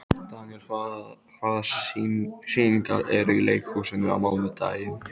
Daniel, hvaða sýningar eru í leikhúsinu á mánudaginn?